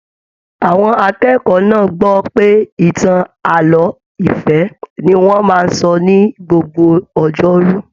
Àwọn akẹ́kọ̀ọ́ náà gbọ pé ìtàn ààlọ́ ìfẹ ní wọn máa n sọ ní gbogbo ọjọ́rú.